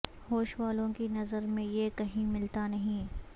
ہوش والوں کی نظر میں یہ کہیں ملتا نہیں